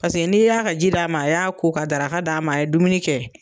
Paseke n'i y'a ka ji d' ma, a y'a ko ka daraka da ma, a ye dumuni kɛ.